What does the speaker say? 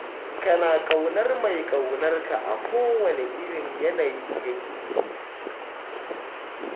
Kana ƙaunar mai ƙaunar ka a kowane irin yanayi yake.